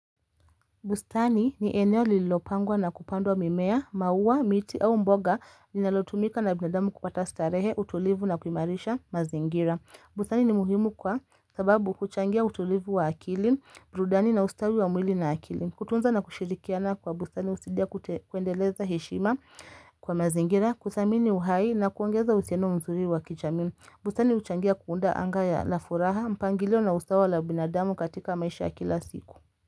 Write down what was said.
Bustani ni eneo lilopangwa na kupandwa mimea, mauwa, miti au mboga ni nalotumika na binadamu kupata starehe, utulivu na kumarisha mazingira. Bustani ni muhimu kwa sababu kuchangia utulivu wa akili, burudani na ustawi wa mwili na akili. Kutunza na kushirikiana kwa bustani usidia kuendeleza heshima kwa mazingira, kuthamini uhai na kuongeza usiano mzuri wa kichamini. Bustani uchangia kuunda anga ya la furaha, mpangilio na ustawala binadamu katika maisha kila siku.